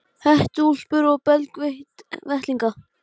Hættu þessu Póst og Síma bulli kveinaði Áslaug.